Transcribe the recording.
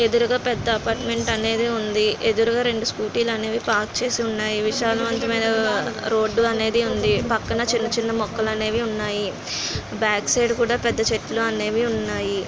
ఎదురుగా పెద్ద అపార్ట్మెంట్ అనేది ఉంది. ఎదురుగా రెండు స్కూటీ లు అనేవి పార్క్ చేసి ఉన్నాయి.విశాలవంతమైన రోడ్డు అనేది ఉంది. పక్కన చిన్న చిన్న మొక్కలనేవి ఉన్నాయి. బ్యాక్ సైడ్ కూడా పెద్ద చెట్లు అనేవి ఉన్నాయి.